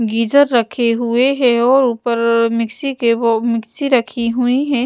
Geyser रखे हुए हैं और ऊपर मिक्सी के वो मिक्सी रखी हुई है।